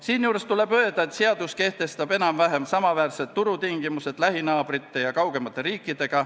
Siinjuures tuleb öelda, et seadus kehtestab enam-vähem samaväärsed turutingimused kui lähinaabritel ja kaugematel riikidel.